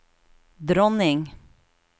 dronning